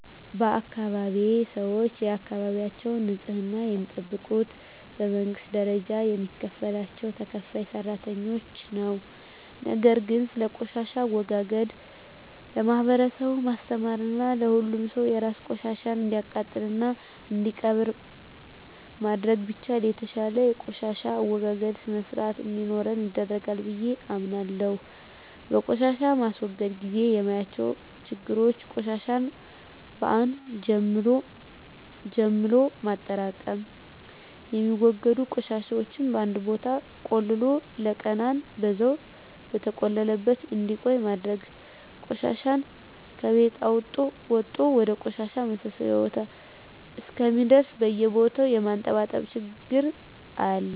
በአካባቢየ ሰወች የአካባቢያቸውን ንጽህና የሚጠብቁት በመንግስት ደረጃ የሚከፈላቸው ተከፋይ ሰራተኞች ነው። ነገር ግን ስለቆሻሻ አወጋገድ ለማህበረሰቡ ማስተማርና ሁሉም ሰው የራሱን ቆሻሻ እንዲያቃጥልና እንዲቀብር ማድረግ ቢቻል የተሻለ የቆሻሻ አወጋገድ ስርአት እንዲኖረን ያደርጋል ብየ አምናለሁ። በቆሻሻ ማስወገድ ግዜ የማያቸው ችግሮች ቆሻሻን በአን ጀምሎ ማጠራቅም፣ የሚወገዱ ቆሻሻወችን በአንድ ቦታ ቆልሎ ለቀናን በዛው በተቆለለበት እንዲቆይ ማድረግና ቆሻሻ ከቤት ወጦ ወደ ቆሻሻ ማሰባሰቢያ ቦታ እስከሚደርስ በየቦታው የማንጠባጠብ ችግር አያለሁ።